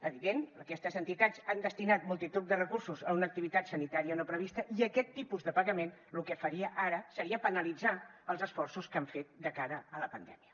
evident aquestes entitats han destinat multitud de recursos a una activitat sanitària no prevista i aquest tipus de pagament lo que faria ara seria penalitzar els esforços que han fet de cara a la pandèmia